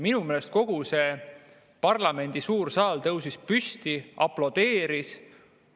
Minu meelest kogu parlamendi suur saal tõusis püsti ja aplodeeris.